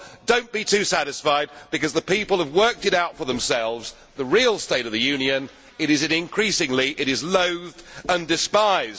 Well, do not be too satisfied, because the people have worked it out for themselves the real state of the Union is that it is increasingly loathed and despised.